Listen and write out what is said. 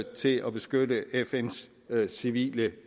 til at beskytte fns civile